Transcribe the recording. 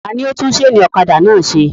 Ta ni ó tún sénì ọ̀kadà náà se?